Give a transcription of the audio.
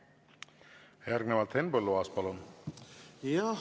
Järgnevalt Henn Põlluaas, palun!